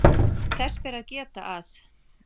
Þess ber að geta að